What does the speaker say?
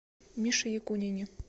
мише якунине